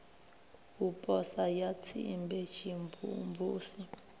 u posa ya tsimbe tshimvumvusi